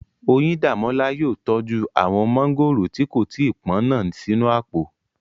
Oyíndàmọ́lá yóò tọ́jú àwọn mọ́ngòrò tí kò tí pọ́n náà sínú àpò